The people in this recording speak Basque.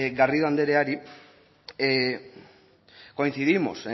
garrido andereari coincidimos